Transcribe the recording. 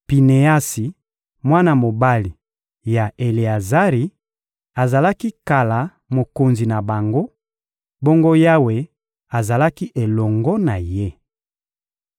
Pineasi, mwana mobali ya Eleazari, azalaki kala mokonzi na bango, bongo Yawe azalaki elongo na ye.